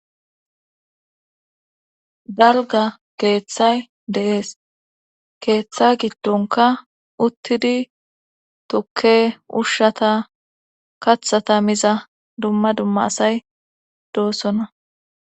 dalga keeththay de7ees keeththa giddonka uttidi tukke ushshata kathata miza dumma dumma asay doossona